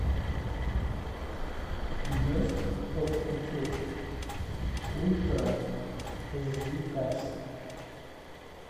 месть от кутюр ультра эйч ди качество